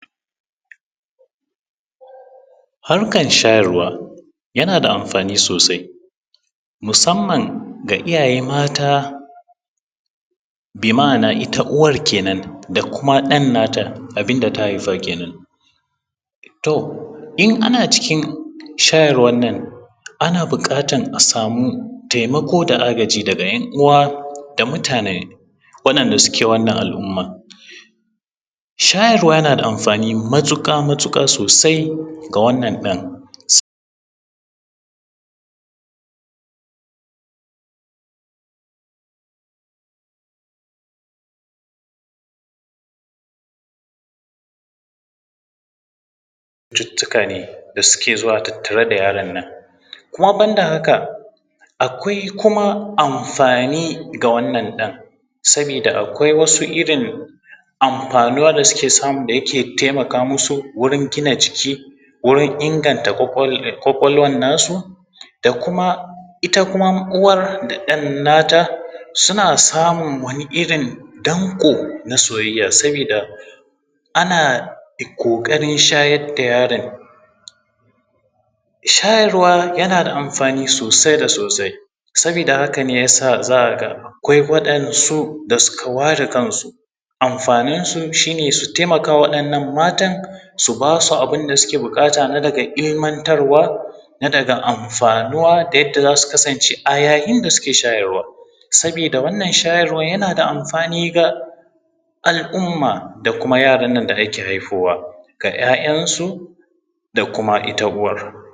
Harkar shayarwa yana da amfani sosai musamman ga iyaye mata. Bi ma’ana ita uwar kenan da kuma ɗan na ta abinda ta haifa kenan. To in ana cikin shayarwan nan ana bukatar a samu taimako da agaji daga ‘yan uwa da mutane waɗanda suke wannan al’ummar. Shayarwa na da amfani matuƙa matuƙa sosai ga wannan don cuttutuka ne da suke tattare da yaron nan, kuma ban da haka akwai kuma amfani ga wannan ɗan sabida akwai wasu irin amfanuwa da yake taimaka musu wurin gina jiki, wurin inganta kwakwalwar na su. Da kuma ita kuma uwar da ɗan nata suna samun wani irin danko na soyayya sabida ana ƙoƙarin shayar da yaron shayarwa yana da amfani sosai da sosai. Saboda hakane yasa za ka ga akwai waɗansu da za ka ga sun ware kansu, amfanin su shine su taimaka wa waɗannan matan su bas u abinda suke bukata na daga ilmantar wa na daga amfanuwa da yadda za su kasance a yayin da suke shayarwa sabida wannan shayarwa yana da amfani ga al’umma da kuma yaran nan da ake haifowa ga ‘ya’yan su da ita kuma ita uwar